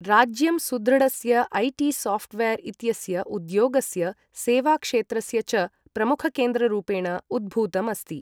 राज्यं सुदृढस्य ऐ.टी.सॉफ्टवेयर् इत्यस्य, उद्योगस्य, सेवाक्षेत्रस्य च प्रमुखकेन्द्ररूपेण उद्भूतम् अस्ति।